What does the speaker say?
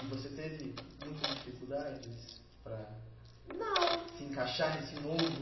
E você teve muitas dificuldades para, não, se encaixar nesse novo...